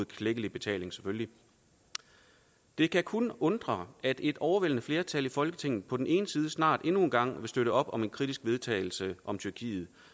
klækkelig betaling det kan kun undre at et overvældende flertal i folketinget på den ene side snart endnu en gang vil støtte op om et kritisk vedtagelse om tyrkiet